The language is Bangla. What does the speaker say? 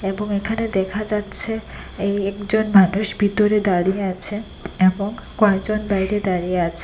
এখানে দেখা যাচ্ছে এই একজন মানুষ ভিতরে দাঁড়িয়ে আছেন এবং কয়েকজন বাইরে দাঁড়িয়ে আছে।